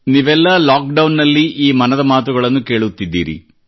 ನೀವೆಲ್ಲ lockdown ನಲ್ಲಿ ಈ ಮನದ ಮಾತುಗಳನ್ನು ಕೇಳುತ್ತಿದ್ದೀರಿ